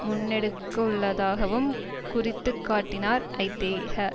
முன்னெடுக்கவுள்ளதாகவும் குறித்துக்காட்டினார் ஐதேக